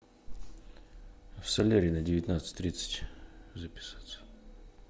в солярий на девятнадцать тридцать записаться